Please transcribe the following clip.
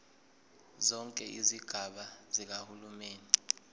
zonke izigaba zikahulumeni